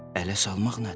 Ələ salmaq nədir?